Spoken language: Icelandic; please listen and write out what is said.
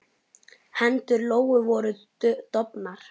Hendur Lóu voru dofnar.